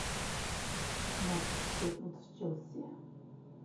матч шеффилд с челси